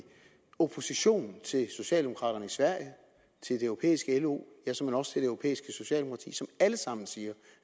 opposition til socialdemokraterne i sverige til det europæiske lo ja såmænd også til det europæiske socialdemokrati som alle sammen siger